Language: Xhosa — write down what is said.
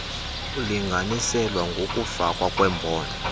kulinganiselwa ngokokufakwa kwembono